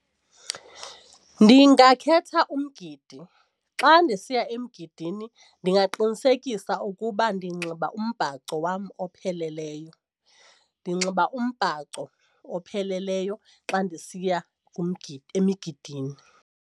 Ndingakhetha umgidi, xa ndisiya emgidini ndingaqinisekisa ukuba ndinxiba umbhaco wam opheleleyo. Ndinxiba umbhaco opheleleyo xa ndisiya kumgidi emigidini.